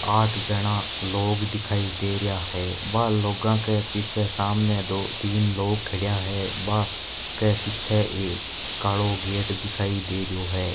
आठ जना लोग दिखाई दे रहा है बा लोगा के पीछे सामने दो तीन लोग खड़ा है वा के पीछे कालो गेट दिखाई दे रयो है।